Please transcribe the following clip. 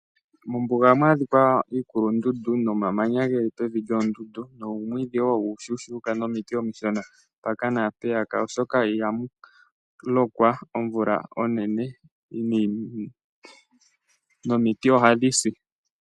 Mombuga ohamu adhika iikulundundu nomamanya geli pevi lyoondundu noomwiidhi wo omushona nomiiti omishona mpaka naampeya. Oshoka iha mu lokwa omvula onenene nomiiti ohadhi si.